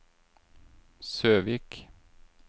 Søvik